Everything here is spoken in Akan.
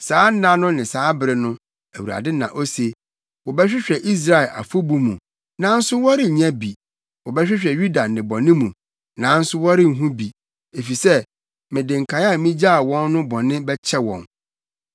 Saa nna no ne saa bere no,” Awurade na ose, “Wɔbɛhwehwɛ Israel afɔbu mu, nanso wɔrennya bi, wɔbɛhwehwɛ Yuda nnebɔne mu, nanso wɔrenhu bi, efisɛ, mede nkae a migyaa wɔn no bɔne bɛkyɛ wɔn.